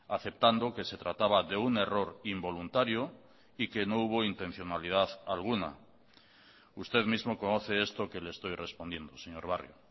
aceptando que se trataba de un error involuntario y que no hubo intencionalidad alguna usted mismo conoce esto que le estoy respondiendo señor barrio